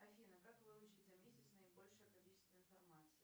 афина как выучить за месяц наибольшее количество информации